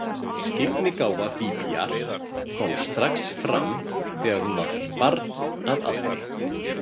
Skyggnigáfa Bíbíar kom strax fram þegar hún var barn að aldri.